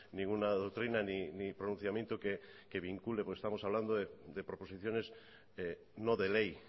ninguna doctrina ni pronunciamiento que vincule porque estamos hablando de proposiciones no de ley